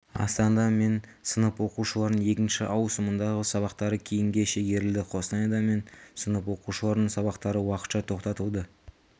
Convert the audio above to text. астанада мен сынып оқушыларының екінші ауысымындағы сабақтары кейінге шегерілді қостанайда мен сынып оқушыларының сабақтары уақытша тоқтатылды